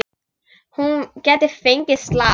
Hún gæti fengið slag.